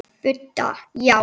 Budda: Já.